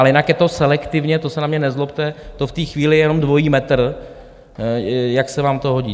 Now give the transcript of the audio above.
Ale jinak je to selektivně, to se na mě nezlobte, to v té chvíli je jenom dvojí metr, jak se vám to hodí.